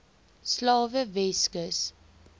slawe weskus